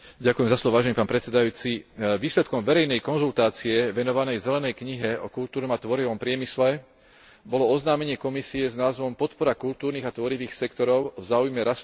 Výsledkom verejnej konzultácie venovanej Zelenej knihe o kultúrnom a tvorivom priemysle bolo oznámenie Komisie s názvom Podpora kultúrnych a tvorivých sektorov v záujme rastu zamestnanosti v Európskej únii.